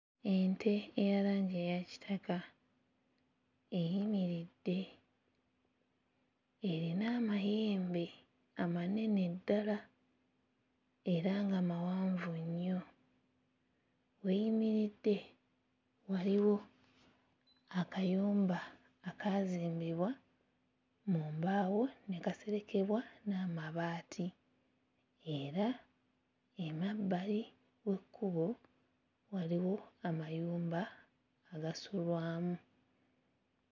Ente eya langi eya kitaka eyimiridde erina amayembe amanene ddala era nga mawanvu nnyo, w'eyimiridde waliwo akayumba akaazimbibwa mu mbaawo ne kaserekebwa n'amabaati era emabbali w'ekkubo waliwo amayumba agasulwamu .